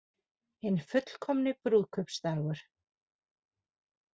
Hinn fullkomni brúðkaupsdagur